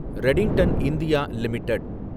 Redington India limited